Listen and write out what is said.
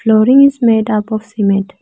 flooring is made up of cement.